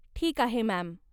ठीक आहे मॅम.